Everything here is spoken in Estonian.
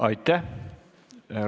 Aitäh!